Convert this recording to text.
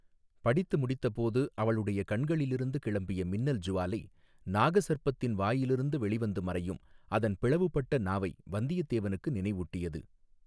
படித்து முடித்தபோது அவளுடைய கண்களிலிருந்து கிளம்பிய மின்னல் ஜுவாலை நாக சர்ப்பத்தின் வாயிலிருந்து வெளிவந்து மறையும் அதன் பிளவுபட்ட நாவை வந்தியத்தேவனுக்கு நினைவூட்டியது.